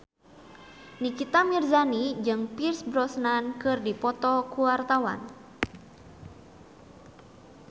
Nikita Mirzani jeung Pierce Brosnan keur dipoto ku wartawan